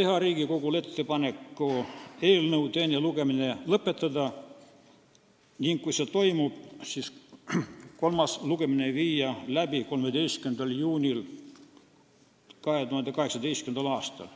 teha Riigikogule ettepaneku eelnõu teine lugemine lõpetada ning kui nii läheb, viia kolmas lugemine läbi 13. juunil 2018. aastal.